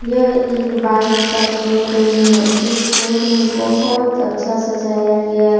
यह एक बाइक का शोरूम है इस शोरूम बहुत अच्छा सजाया गया--